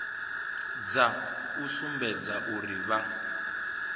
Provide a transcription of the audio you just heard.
dza u sumbedza uri vha